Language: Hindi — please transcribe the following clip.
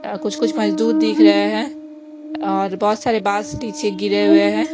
यहां कुछ कुछ मजदूर दिख रहे है और बहुत सारे बास नीचे गिरे हुए है।